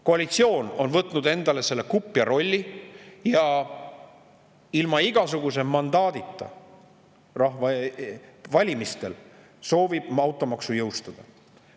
Koalitsioon on võtnud endale selle kupja rolli ja soovib ilma igasuguse valimistel antud rahva mandaadita automaksu jõustada.